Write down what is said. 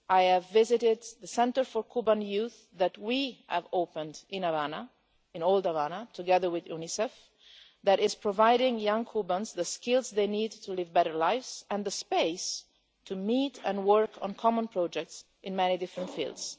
I have visited the centre for Cuban youth that we have opened in old Havana, together with UNICEF, that is providing young Cubans with the skills they need to live better lives and the space to meet and work on common projects in many different fields.